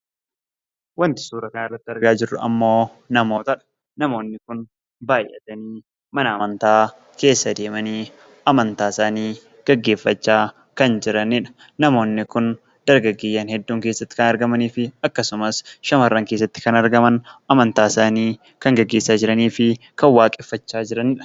Wanti suuraa kanarratti argaa jirru ammoobnamootadha. namoonni kun baay'atani Mana amantaa keessa deemani amantaa isaani geggeeffachaa kan jiranidha. Namoonni kun dargaggeeyyiin hedduun keessatti kan argamanii fi akkasumas, shamarran keessatti kan argamani amantaa isaani kan geggeessaa jiraanii fi kan waqeeffachaa jiraniidha.